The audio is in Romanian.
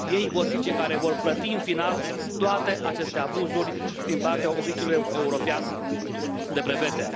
Ei vor fi cei care vor plăti în final toate aceste abuzuri din partea Oficiului European de Brevete.